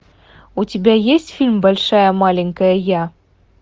у тебя есть фильм большая маленькая я